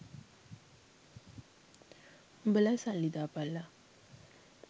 උඹලා සල්ලි දාපල්ලා